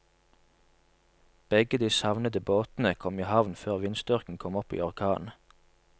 Begge de savnede båtene kom i havn før vindstyrken kom opp i orkan.